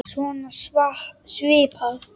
Svona svipað.